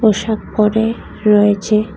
পোশাক পড়ে রয়েছে।